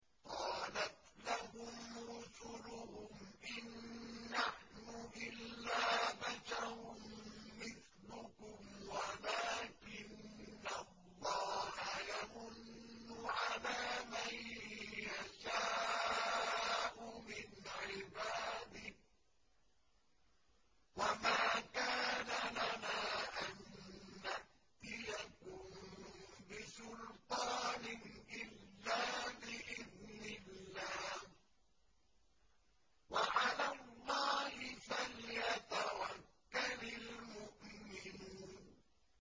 قَالَتْ لَهُمْ رُسُلُهُمْ إِن نَّحْنُ إِلَّا بَشَرٌ مِّثْلُكُمْ وَلَٰكِنَّ اللَّهَ يَمُنُّ عَلَىٰ مَن يَشَاءُ مِنْ عِبَادِهِ ۖ وَمَا كَانَ لَنَا أَن نَّأْتِيَكُم بِسُلْطَانٍ إِلَّا بِإِذْنِ اللَّهِ ۚ وَعَلَى اللَّهِ فَلْيَتَوَكَّلِ الْمُؤْمِنُونَ